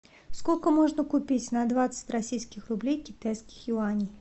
сколько можно купить на двадцать российских рублей китайских юаней